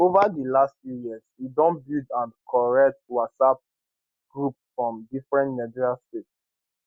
over di last few years e don build and curate whatsapp groups for different nigerian states